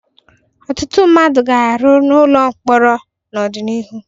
Ọtụtụ mmadụ ga-arụ ọrụ n'ụlọ mkpọrọ n'ụlọ mkpọrọ n'ọdịnihu.